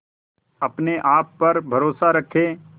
अपने आप पर भरोसा रखें